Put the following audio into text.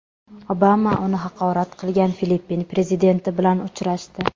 Obama uni haqorat qilgan Filippin prezidenti bilan uchrashdi.